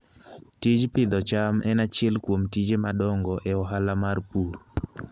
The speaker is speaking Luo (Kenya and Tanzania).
Tij pidho cham en achiel kuom tije madongo e ohala mar pur.